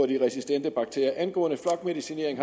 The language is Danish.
de resistente bakterier angående flokmedicinering